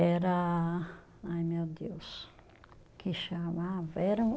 Era, ai meu Deus, que chamava era o